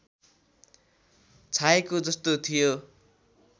छाएको जस्तो थियो